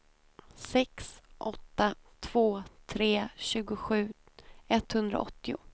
sex åtta två tre tjugosju etthundraåttio